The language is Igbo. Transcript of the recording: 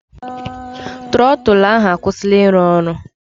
Trọtụlụ ahụ akwụsịla ịrụ ọrụ.